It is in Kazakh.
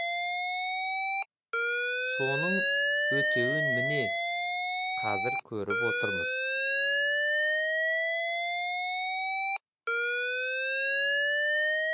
соның өтеуін міне қазір көріп отырмыз